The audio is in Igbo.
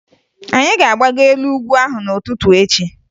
Anyị ga-agbago elu ugwu ahụ n'ụtụtụ echi